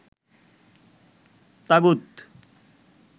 তাগুত